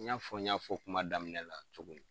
N y'a fɔ n y'a fɔ kuma daminɛ la cogo min